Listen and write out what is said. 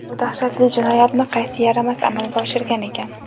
Bu dahshatli jinoyatni qaysi yaramas amalga oshirgan ekan?!